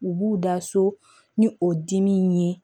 U b'u da so ni o dimi ye